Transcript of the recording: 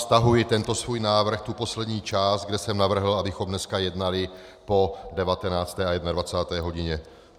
Stahuji tento svůj návrh, tu poslední část, kde jsem navrhl, abychom dnes jednali po 19. a 21. hodině.